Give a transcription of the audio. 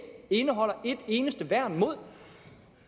indeholder et eneste værn mod